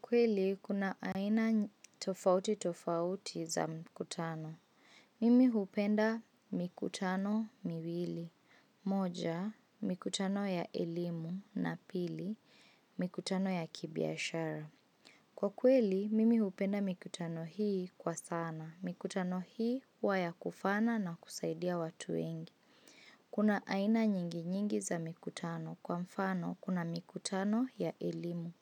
Kweli, kuna aina tofauti tofauti za mkutano. Mimi hupenda mikutano miwili. Moja, mikutano ya elimu na pili, mkutano ya kibiashara. Kwa kweli, mimi hupenda mikutano hii kwa sana. Mikutano hii, hua ya kufana na kusaidia watu wengi. Kuna aina nyingi nyingi za mikutano. Kwa mfano, kuna mikutano ya elimu.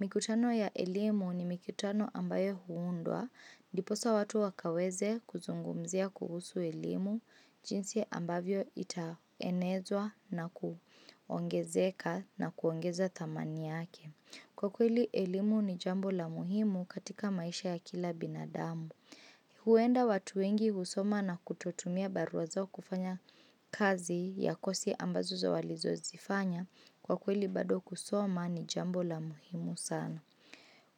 Mikutano ya elimu ni mikutano ambayo huundwa diposa watu wakaweze kuzungumzia kuhusu elimu jinsi ambavyo itaenezwa na kuongezeka na kuongeza thamani yake. Kwa kweli, elimu ni jambo la muhimu katika maisha ya kila binadamu. Huenda watu wengi husoma na kutotumia baruwa zao kufanya kazi ya kosi ambazo za walizo zifanya kwa kweli bado kusoma ni jambo la muhimu sana.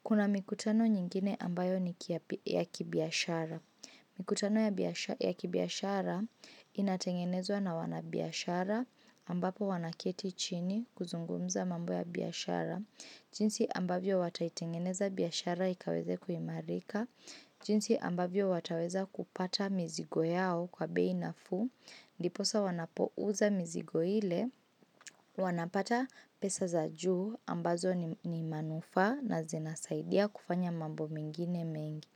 Kuna mikutano nyingine ambayo ni kia ya kibiashara. Mikutano ya kibiashara inatengenezwa na wanabiashara ambapo wanakieti chini kuzungumza mambo ya biashara. Jinsi ambavyo wataitengeneza biashara ikaweze kuimarika. Jinsi ambavyo wataweza kupata mizigo yao kwa bei nafuu. Ndiposa wanapouza mizigo ile. Wanapata pesa za juu ambazo ni manufa na zinasaidia kufanya mambo mingine mengi.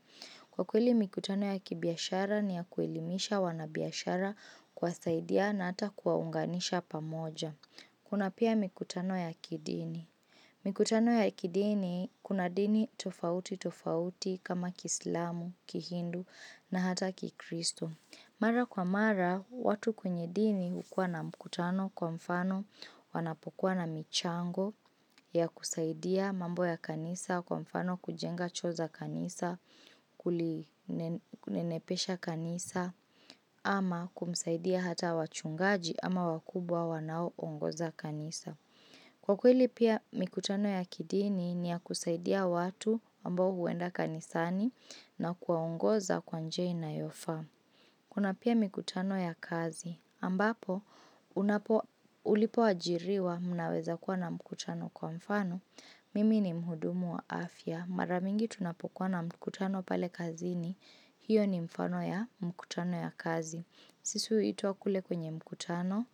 Kwa kweli mikutano ya kibiashara ni ya kuelimisha wanabiashara kwa saidia na ata kuwaunganisha pamoja. Kuna pia mikutano ya kidini. Mikutano ya kidini kuna dini tofauti tofauti kama kislamu, kihindu na hata kikristo. Mara kwa mara, watu kwenye dini hukua na mkutano kwa mfano wanapokuwa na michango ya kusaidia mambo ya kanisa kwa mfano kujenga choo za kanisa, kulinepesha kanisa, ama kumsaidia hata wachungaji ama wakubwa wanao ongoza kanisa. Kwa kweli pia mikutano ya kidini ni ya kusaidia watu ambo huwenda kanisani na kuwaongoza kwa njia inayofaa. Kuna pia mikutano ya kazi. Ambapo, ulipo ajiriwa mnaweza kuwa na mkutano kwa mfano, mimi ni mhudumu wa afya. Mara mingi tunapokuwa na mkutano pale kazini, hiyo ni mfano ya mkutano ya kazi. Sisu huita kule kwenye mkutano,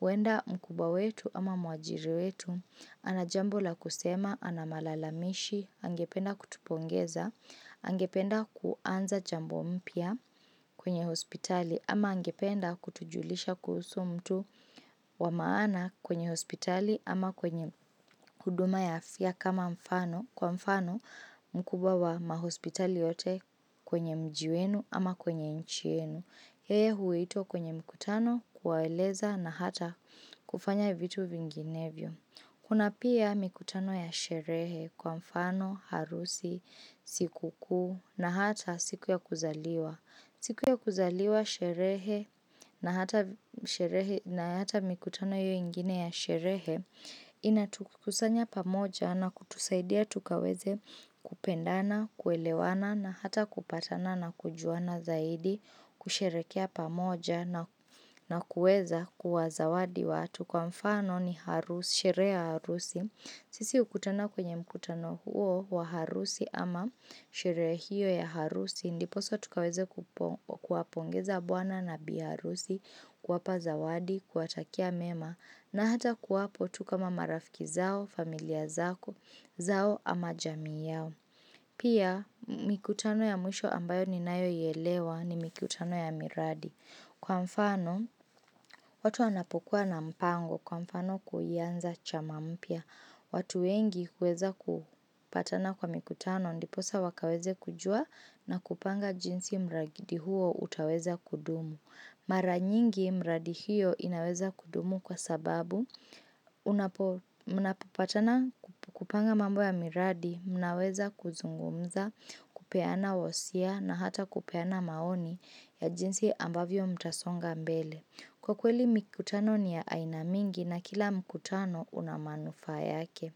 huenda mkubwa wetu ama mwajiri wetu, anajambo la kusema, anamalalamishi, angependa kutupongeza, angependa kuanza jambo mpya kwenye hospitali ama angependa kutujulisha kuhusu mtu wamaana kwenye hospitali ama kwenye huduma ya afya kwa mfano mkubwa wa mahospitali yote kwenye mji wenu ama kwenye inchi yenu. Yeye huito kwenye mikutano kuwaeleza na hata kufanya vitu vinginevyo Kuna pia mikutano ya sherehe kwa mfano, harusi, sikukuu na hata siku ya kuzaliwa siku ya kuzaliwa sherehe na hata mikutano hio ingine ya sherehe ina tukusanya pamoja na kutusaidia tukaweze kupendana, kuelewana na hata kupatana na kujuana zaidi kusheherekea pamoja na kuweza kuwa zawadi watu kwa mfano ni sherehe ya harusi. Sisi hukutana kwenye mkutano huo wa harusi ama shehere hio ya harusi, ndiposa tukaweze kuapongeza buana na biharusi, kuwapa zawadi, kuwatakia mema, na hata kwapo tu kama marafiki zao, familia zao, zao ama jami yao. Pia mikutano ya mwisho ambayo ni nayo hii elewa ni mikutano ya miradi. Kwa mfano watu wanapokuwa na mipango kwa mfano kuianza chama mpya. Watu wengi huweza kupatana kwa mikutano ndiposa wakaweze kujua na kupanga jinsi mragidi huo utaweza kudumu. Mara nyingi mradi hiyo inaweza kudumu kwa sababu unapopatana kukupanga mambo ya miradi, mnaweza kuzungumza, kupeana wasia na hata kupeana maoni ya jinsi ambavyo mtasonga mbele. Kwa kweli mikutano ni ya ainamingi na kila mikutano unamanufaa yake.